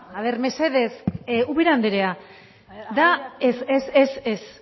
a ver mesedez ubera andrea da ez ez